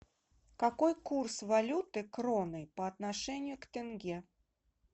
какой курс валюты кроны по отношению к тенге